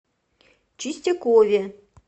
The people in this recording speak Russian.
чистякове